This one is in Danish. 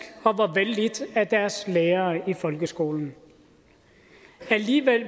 og var vellidt af deres lærere i folkeskolen alligevel